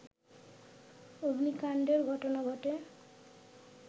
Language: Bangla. অগ্নিকাণ্ডের ঘটনা ঘটে